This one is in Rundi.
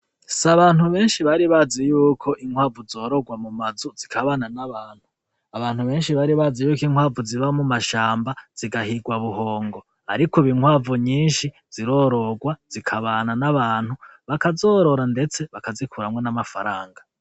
S'abantu benshi bari bazi yuko inkwavu zorogwa mu mazu zikabana n'abantu. Abantu benshi baribazi yuko inkwavu ziba mu mashamba zigahigwa buhongo, ariko ubu inkwavu nyinshi zirorogwa zikabana n'abantu bakazorora ndetse bakazikuramwo n'amafaranga.